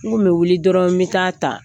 N kun bɛ wuli dɔrɔn n bɛ ta'a ta